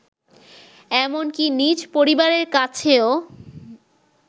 এমনকি নিজ পরিবারের কাছেও